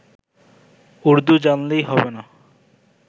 উর্দু জানলেই হবে না